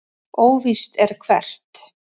Óvíst er hvert.